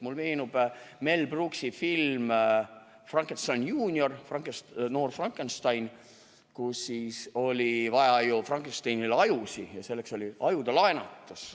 Mulle meenub Mel Brooksi film "Young Frankenstein" ehk "Noor Frankenstein", kus oli vaja Frankensteinile ajusid ja selleks oli ajude laenutus.